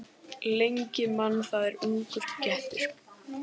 Lengi man það er ungur getur.